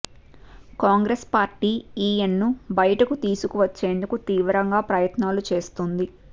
Congress party ఈయన్ను బయటకు తీసుకు వచ్చేందుకు తీవ్రంగా ప్రయత్నాలు చేస్తోంది